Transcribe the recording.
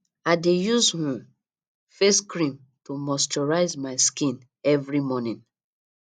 i dey use um face cream to moisturize my skin every morning